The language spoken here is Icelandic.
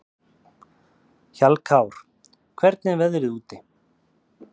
Hjallkár, hvernig er veðrið úti?